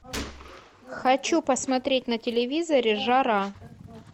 хочу посмотреть на телевизоре жара